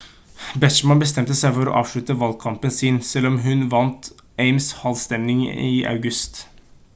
bachmann bestemte seg for å avslutte valgkampen sin selv om hun vant ames-halmavstemning i august